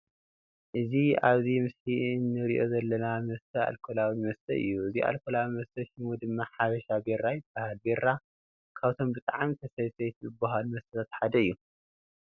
እዚ ኣብዚ ምስሊ እንርእዮ ዘለና መስተ ኣልከላዊ መስተ እዩ። እዚ ኣልኮላዊ መስተ ሽሙ ድማ ሓበሻ ቢራ ይባሃል። ቢራ ካብቶም ብጣዕሚ ተሰተይቲ ዝበሃሉ መስተታት ሓደ እዩ።